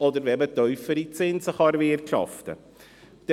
Oder aber dann, wenn man tiefere Zinsen erwirtschaften kann.